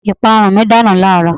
Ìpanu mi dànù láàrọ̀